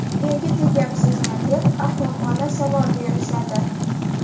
Erga tegyapsizmi, deb ahmoqona savol berishadi.